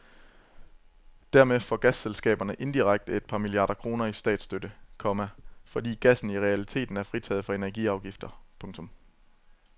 Dermed får gasselskaberne indirekte et par milliarder kroner i statsstøtte, komma fordi gassen i realiteten er fritaget for energiafgifter. punktum